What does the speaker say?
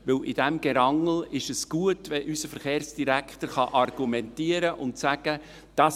Denn in diesem Gerangel ist es gut, wenn unser Verkehrsdirektor argumentieren und sagen kann: